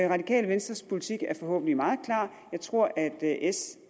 radikale venstres politik er forhåbentlig meget klar jeg tror at s